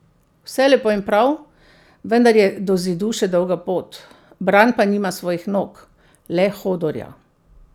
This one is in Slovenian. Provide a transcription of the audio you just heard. Vse lepo in prav, vendar je do Zidu še dolga pot, Bran pa nima svojih nog, le Hodorja.